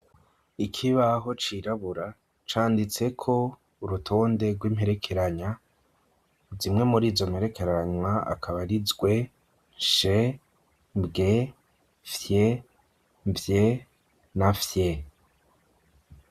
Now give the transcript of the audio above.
Ikibaho cirabura canditseko urutonde rw'imperekeranya ,zimwe muri izo mperekeranywa akaba ri, zwe ,nshe, bw, fye, vye, na fye.